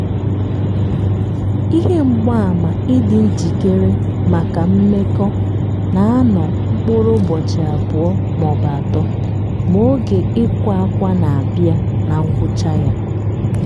ihe mgbaàmà ịdị njikere maka mmekọ na-anọ mkpụrụ ụbọchi abụ́ọ maọbụ atọ ma oge ikwa akwa na- abịa na ngwụcha ya